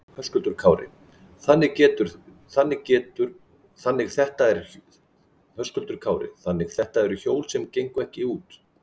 Höskuldur Kári: Þannig þetta eru hjól sem gengu ekki út?